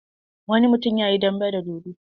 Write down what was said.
Wani mutum ya yi dambe da dodo.